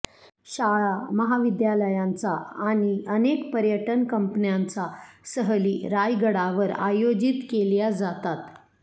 शाळा महाविद्यालयांचा आणि अनेक पर्यटन कंपन्यांचा सहली रायगडावर आयोजित केल्या जातात